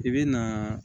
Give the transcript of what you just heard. I bɛ naaa